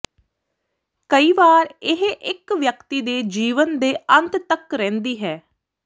ਕਈ ਵਾਰ ਇਹ ਇੱਕ ਵਿਅਕਤੀ ਦੇ ਜੀਵਨ ਦੇ ਅੰਤ ਤੱਕ ਰਹਿੰਦੀ ਹੈ